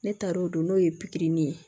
Ne taar'o don n'o ye pikiri ni ye